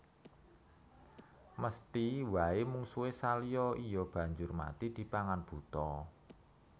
Mesthi waé mungsuhé Salya iya banjur mati dipangan buta